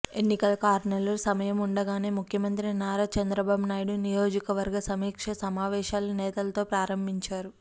ఎన్నికలకు ఆరు నెలలు సమయం ఉండగానే ముఖ్యమంత్రి నారా చంద్రబాబు నాయుడు నియోజకవర్గ సమీక్షా సమావేశాలు నేతలతో ప్రారంభించారు